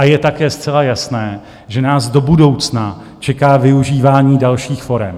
A je také zcela jasné, že nás do budoucna čeká využívání dalších forem.